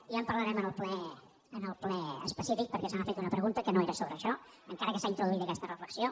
ja en parlarem en el ple específic perquè se m’ha fet una pregunta que no era sobre això encara que s’ha introduït aquesta reflexió